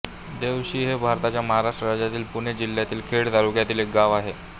देवोशी हे भारताच्या महाराष्ट्र राज्यातील पुणे जिल्ह्यातील खेड तालुक्यातील एक गाव आहे